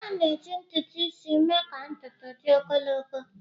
A na-eji ntutu isi mee ka ntutu dị ogologo.